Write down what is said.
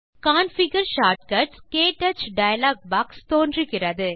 configure short cuts - க்டச் dialogue box தோன்றுகிறது